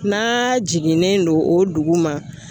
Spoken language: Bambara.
N'a jiginnen don o dugu ma.